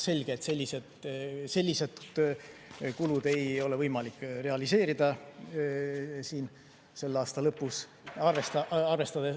Selge, et selliseid kulusid ei ole võimalik realiseerida tänavuse aasta lõpus.